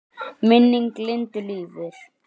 Minning Lindu lifir.